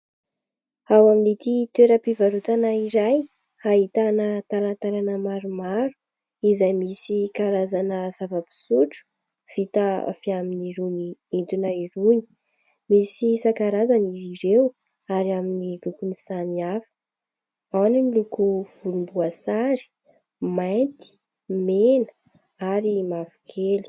Ao amin'ity toeram-pivarotana iray ahitana talatalana maromaro izay misy karazana zava-pisotro vita avy amin'irony entona irony ; misy isan-karazany izy ireo ary amin'ny lokony samihafa : ao ny miloko volomboasary, mainty, mena ary mavokely.